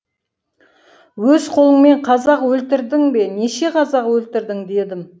өз қолыңмен қазақ өлтірдің бе неше қазақ өлтірдің дедім